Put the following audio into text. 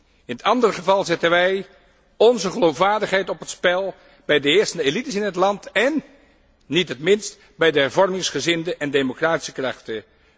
Zo niet, dan zetten wij onze geloofwaardigheid op het spel bij de eerste elites in het land én niet in het minst bij de hervormingsgezinde en democratische krachten.